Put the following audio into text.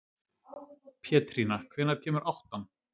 Pétrína, hvenær kemur áttan?